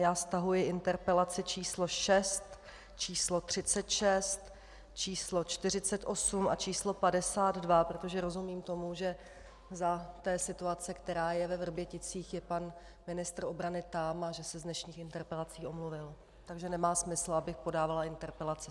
Já stahuji interpelaci číslo 6, číslo 36, číslo 48 a číslo 52, protože rozumím tomu, že za té situace, která je ve Vrběticích, je pan ministr obrany tam a že se z dnešních interpelací omluvil, takže nemá smysl, abych podávala interpelaci.